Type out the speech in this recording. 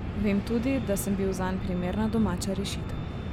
Vem tudi, da sem bil zanj primerna domača rešitev.